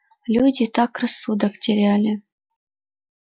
люди так рассудок теряли